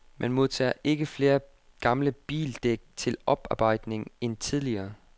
Man modtager ikke flere gamle bildæk til oparbejdning end tidligere.